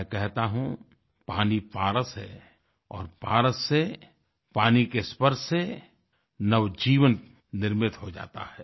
मैं कहता हूँ पानी पारस है और पारस से पानी के स्पर्श से नवजीवन निर्मित हो जाता है